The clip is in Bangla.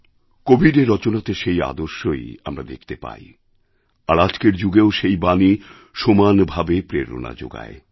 কবীরের রচনাতে সেই আদর্শই আমরা দেখতে পাই আর আজকের যুগেও সেই বাণী সমান ভাবে প্রেরণাযোগায়